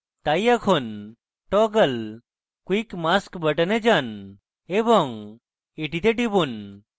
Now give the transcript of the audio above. তাই এখন toggle quick mask button এ যান এবং এটিতে টিপুন